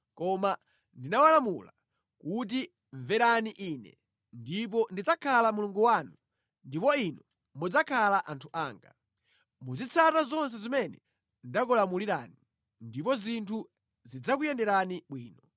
koma ndinawalamula kuti: Mverani Ine, ndipo ndidzakhala Mulungu wanu ndipo inu mudzakhala anthu anga. Muzitsata zonse zimene ndakulamulirani, ndipo zinthu zidzakuyenderani bwino.